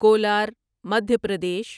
Kolar Madhya Pradesh